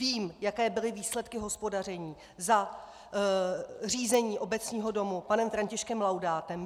Vím, jaké byly výsledky hospodaření za řízení Obecního domu panem Františkem Laudátem.